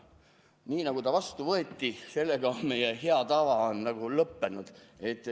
Nii nagu ta vastu võeti,, sellega meie hea tava on nagu lõppenud.